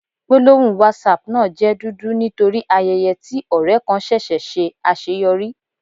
Gbólóhùn Whatsapp náà jẹ́ dúdú nítorí ayẹyẹ tí ọ̀rẹ kan ṣẹṣẹ̀ ṣe àṣeyọrí.